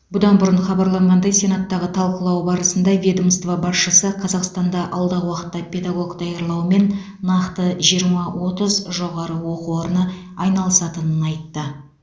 бұдан бұрын хабарланғандай сенаттағы талқылау барысында ведомство басшысы қазақстанда алдағы уақытта педагог даярлаумен нақты жиырма отыз жоғары оқу орны айналысатынын айтты